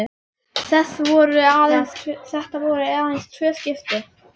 Þetta voru aðeins tvö skipti.